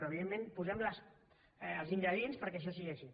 però evidentment posem els ingredients perquè això sigui així